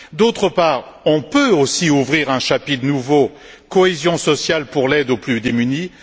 D'autre part, on peut aussi ouvrir un chapitre nouveau Cohésion sociale pour l'aide aux plus démunis.